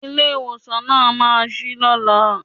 Ilé ìwòsàn náà ma ṣí lọ́la.